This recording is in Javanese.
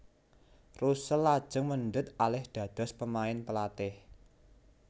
Russell lajeng mendhet alih dados pemain pelatih